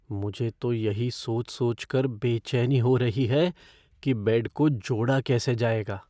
मुझे तो यही सोच सोचकर बेचैनी हो रही है कि बेड को जोड़ा कैसे जाएगा।